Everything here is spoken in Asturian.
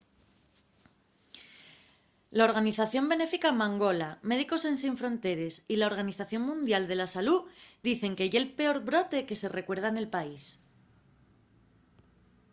la organización benéfica mangola médicos ensin fronteres y la organización mundial de la salú dicen que ye’l peor brote que se recuerda nel país